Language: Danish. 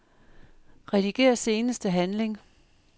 Rediger seneste handling.